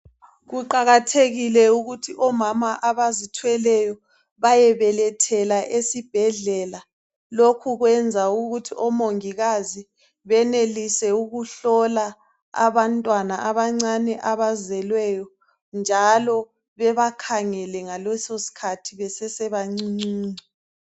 Kuqakathekile ukuthi omama abazitheleyo bayebelethela esibhedlela. Lokhu kwenza ukuthi omongikazi benelise ukuhlola abantwana abancane abazelweyo . Njalo bebakhangele ngaleso sikhathi besese bancuncuncu.